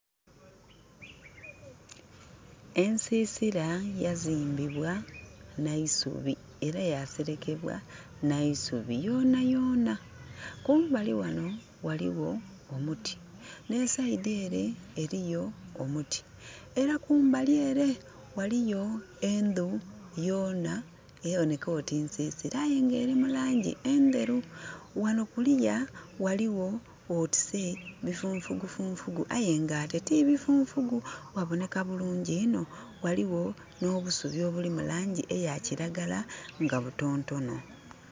Ensisira yazimbbibwa na isubi era yaserekebwa na isubi yona yona. Kumbali wano waliwo omuti ne saidi ere eriyo omuti. Era kumbali ere waliyo endu yoona eboneka nga nsisira nga eri mu langi enderu. Wano kuliya waliwo otise bifunfu funfugu ate tibi funfugu. Waboneka bulungi inho. Waliwo no busubi obuli mulangi eya kiragala nga butonotono